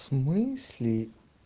с смысле